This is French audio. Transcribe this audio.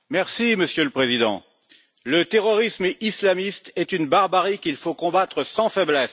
Monsieur le Président, le terrorisme islamiste est une barbarie qu'il faut combattre sans faiblesse.